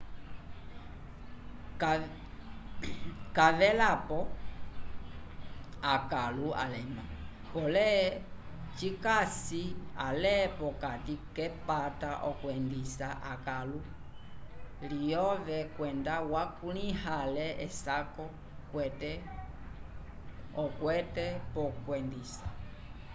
c'avelapo akãlu alema pole cikasi ale pokati k'epata okwendisa ekãlu lyove kwenda wakulĩha ale esako okwete p'okwendisa